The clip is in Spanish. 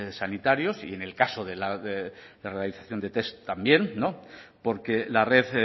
sanitarios y en el caso de la realización de test también porque la red